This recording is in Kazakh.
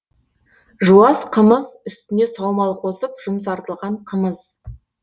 жуас қымыз үстіне саумал қосып жұмсартылған қымыз